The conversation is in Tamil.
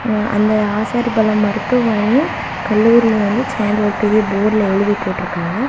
அந்த ஆசாரிபள்ளம் மருத்துவமனையின் கல்லூரினு வந்து சேந்து பெரிய போர்டுல எழுதி போட்டுருக்காங்க.